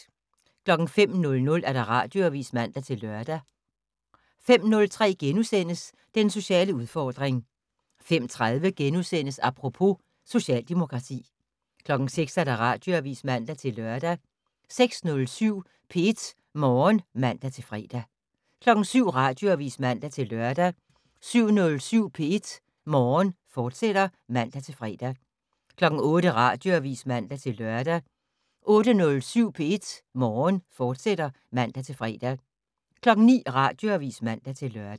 05:00: Radioavis (man-lør) 05:03: Den sociale udfordring * 05:30: Apropos - Socialdemokrati * 06:00: Radioavis (man-lør) 06:07: P1 Morgen (man-fre) 07:00: Radioavis (man-lør) 07:07: P1 Morgen, fortsat (man-fre) 08:00: Radioavis (man-lør) 08:07: P1 Morgen, fortsat (man-fre) 09:00: Radioavis (man-lør)